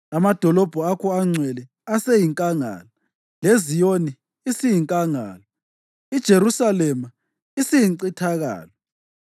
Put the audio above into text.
Amadolobho akho angcwele aseyinkangala; leZiyoni isiyinkangala, iJerusalema isiyincithakalo.